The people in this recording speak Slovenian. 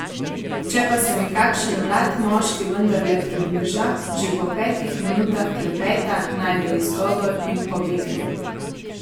Če pa se mi kakšen mlad moški vendarle približa, že po petih minutah klepeta najde izgovor in pobegne.